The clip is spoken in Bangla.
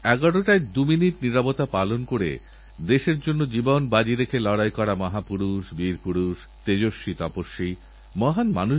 সারা বিশ্ব খেলবে পৃথিবীরপ্রতিটি দেশ নিজ নিজ খেলোয়াড়দের ওপর তীক্ষ্ণ নজর রাখবে আপনারাও রাখবেন